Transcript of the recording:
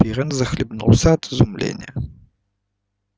пиренн захлебнулся от изумления